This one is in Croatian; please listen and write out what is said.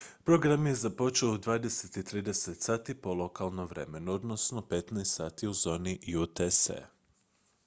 program je započeo u 20:30 sati po lokalnom vremenu 15:00 sati u zoni utc